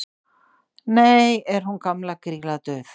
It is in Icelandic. nú er hún gamla grýla dauð